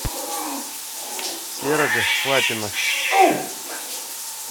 серого лапина